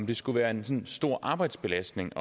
det skulle være en stor arbejdsbelastning